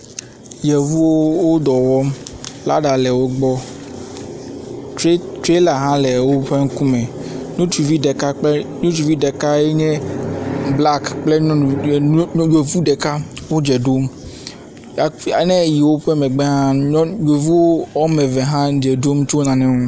Yevuwo wo dɔ wɔm. lada le wo gbɔ. Trɛ trɛla hã le woƒe ŋkume. Ŋutsuvi ɖeka ŋutsuvi ɖeka kple ŋutsuvi ɖekae nye blak kple nyɔnu nyɔ nyɔ yevu ɖeka wo dze ɖom ne eyi woƒe megbea yevu wɔme eve wo dze ɖom tso nane ŋu.